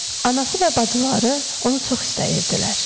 Anası və bacıları onu çox istəyirdilər.